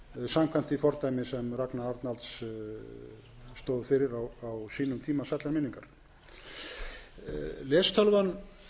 samkvæmt því fordæmi sem ragnar arnalds stóð fyrir á sínum tíma sællar minningar lestölvu síðast þegar ég